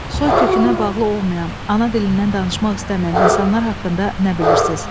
Soykökünə bağlı olmayan, ana dilindən danışmaq istəməyən insanlar haqqında nə bilirsiz?